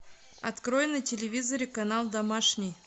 открой на телевизоре канал домашний